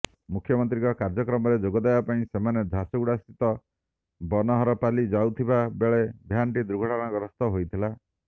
ମୁଖ୍ୟମନ୍ତ୍ରୀଙ୍କ କାର୍ଯ୍ୟକ୍ରମରେ ଯୋଗଦେବା ପାଇଁ ସେମାନେ ଝାରସୁଗୁଡ଼ା ସ୍ଥିତ ବନହରପାଲି ଯାଉଥିବା ବେଳେ ଭ୍ୟାନ୍ଟି ଦୁର୍ଘଟଣାଗ୍ରସ୍ତ ହୋଇଥିଲା